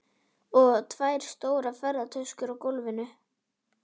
Og tvær stórar ferðatöskur á gólfinu.